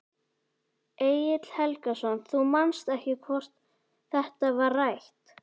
Egill Helgason: Þú manst ekki hvort þetta var rætt?